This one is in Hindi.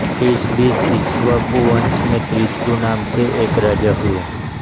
इस बीच इक्ष्वाकु वंश में त्रिशंकु नाम के एक राजा हुये